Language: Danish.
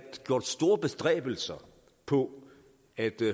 gjort store bestræbelser på at